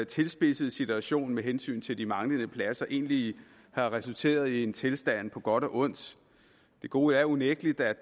tilspidsede situation med hensyn til de manglende pladser egentlig har resulteret i en tilstand på både godt og ondt det gode er unægtelig